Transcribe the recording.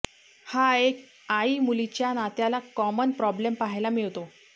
हा एक आईमुलीच्या नात्यातला कॉमन प्रॉब्लेम पाहायला मिळतो